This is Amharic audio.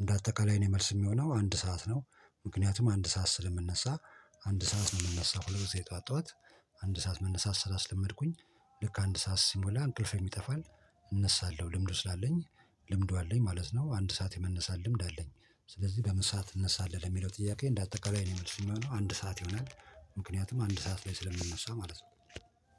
እንደ አጠቃላይ እኔ መልስ እሚሆነው አንድ ሰዓት ነው። ምክንያቱም አንድ ሰዓት ስለምነሳ። አንድ ሰዓት ነው እምነሳው ሁል ጊዜ ጠዋት ጠዋት አንድ ሰዓት መነሳት ስላስለመድኩኝ። ልክ አንድ ሰዓት ሲሞላ እንቅልፌም ይጠፋል። እነሳለሁ ልምዱ ስላለኝ። ልምዱ አለኝ ማለት ነው። አንድ ሰዓት የመነሳት ልምድ አለኝ። ስለዚህ በምን ሰዓት ትነሳለህ? ለሚለው ጥያቄ እንደ አጠቃላይ የኔ መልስ የሚሆነው አንድ ሰዓት ይሆናል። ምክንያቱም አንድ ሰዓት ላይ ስለምነሳ ማለት ነው